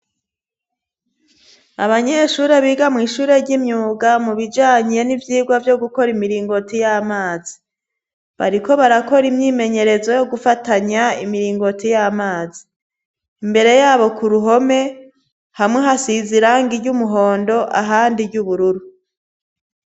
Abanyeshuri biga mw'ishure ry'imyuga mu bijanyye n'ivyirwa vyo gukora imiringoti y'amazi bariko barakora imyimenyerezo yo gufatanya imiringoti y'amazi imbere yabo ku ruhome hamwe hasiza iranga ry'umuhondo ahandi ry'ubururu.